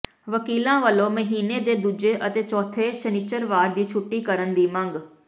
ਵਕੀਲਾਂ ਵੱਲੋਂ ਮਹੀਨੇ ਦੇ ਦੂਜੇ ਅਤੇ ਚੌਥੇ ਸ਼ਨਿਚਰਵਾਰ ਦੀ ਛੁੱਟੀ ਕਰਨ ਦੀ ਮੰਗ